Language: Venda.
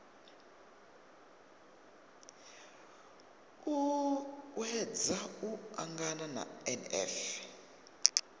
u uuwedza u angana na nf